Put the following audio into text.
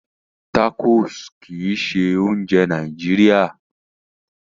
Tacos kìí ṣe oúnjẹ Nàìjíría